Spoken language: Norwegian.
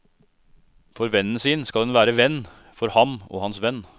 For vennen sin skal en være venn, for ham og hans venn.